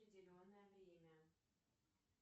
определенное время